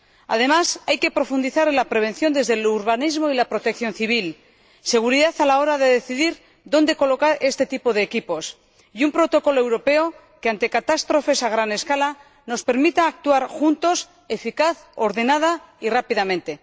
Además, hay que profundizar en la prevención desde el urbanismo y la protección civil, en la seguridad a la hora de decidir dónde colocar este tipo de equipos, y elaborar un protocolo europeo que, ante catástrofes a gran escala, nos permita actuar juntos eficaz, ordenada y rápidamente.